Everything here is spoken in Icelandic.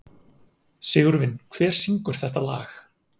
Sigurvin, hver syngur þetta lag?